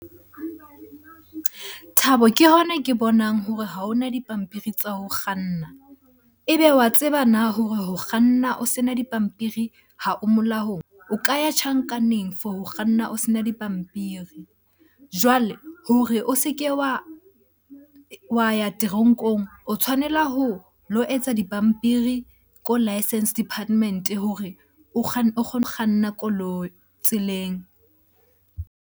Thabo ke hona ke bonang hore ha hona dipampiri tsa ho kganna. Ebe wa tseba na hore ho kganna a sena dipampiri ha o molaong? O ka ya tjhankaneng for ho kganna o sena dipampiri. Jwale hore o se ke wa ya teronkong, o tshwanela ho lo etsa dipampiri ko licence department hore o kgone kganna koloi tseleng.